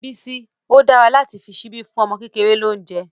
Bísí, ó dára láti fi ṣíbí fún ọmọ kékeré lóúnjẹ́.